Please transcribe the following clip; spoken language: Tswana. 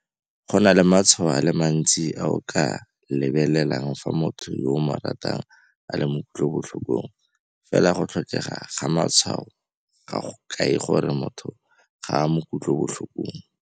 Go na le matshwao a le mantsi a o ka a lebelelang fa motho yo o mo ratang a le mo kutlobotlhokong, fela go tlhokega ga matshwao ga go kae gore motho ga a mo kutlobotlhokong.